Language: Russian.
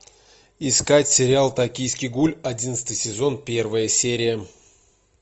искать сериал токийский гуль одиннадцатый сезон первая серия